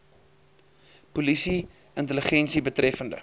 polisie intelligensie betreffende